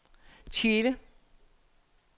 Tjele